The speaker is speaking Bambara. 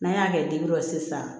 N'an y'a kɛ la sisan